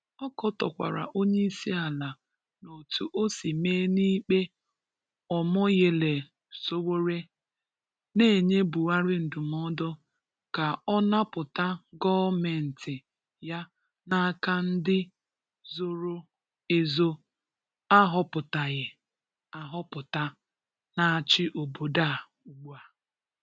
Ọ katọkwara onyeisi ala n'otu o si mee n' ikpe Omoyele Sowore, na-enye Buhari ndụmọdụ ka ọ napụta gọọmenti ya n' aka ndị zoro ezo a họpụtaghị ahọpụta na-achị obodo a ugbua.